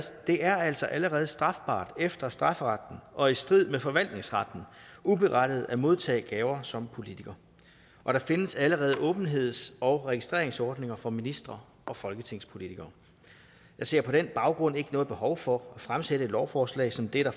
det er altså allerede strafbart efter strafferetten og i strid med forvaltningsretten uberettiget at modtage gaver som politiker og der findes allerede åbenheds og registreringsordninger for ministre og folketingspolitikere jeg ser på den baggrund ikke noget behov for at fremsætte et lovforslag som det der